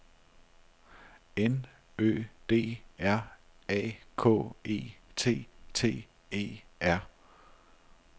N Ø D R A K E T T E R